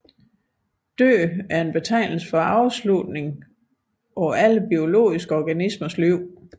Død er betegnelsen for afslutningen på alle biologiske organismers liv